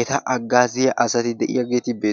eta aggaaziya asati de7iyaageeti bettoosonna